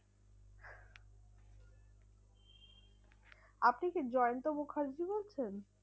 আপনি কি জয়ন্ত মুখার্জী বলছেন?